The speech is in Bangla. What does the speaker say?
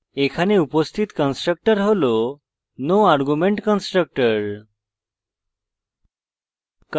এখানে উপস্থিত constructor হল no argument constructor